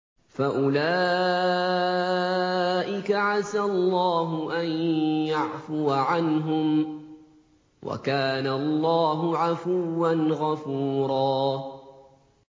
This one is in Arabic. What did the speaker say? فَأُولَٰئِكَ عَسَى اللَّهُ أَن يَعْفُوَ عَنْهُمْ ۚ وَكَانَ اللَّهُ عَفُوًّا غَفُورًا